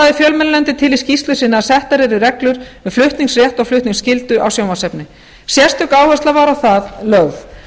lagði fjölmiðlanefndin til í skýrslu sinni að settar yrðu reglur um flutningsrétt og flutningsskyldu á sjónvarpsefni sérstök áhersla var á það lögð